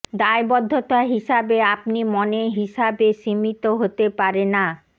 দায়বদ্ধতা হিসাবে আপনি মনে হিসাবে সীমিত হতে পারে না